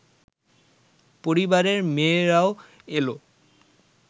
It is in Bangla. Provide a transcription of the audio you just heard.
পরিবারের মেয়েরাও এলো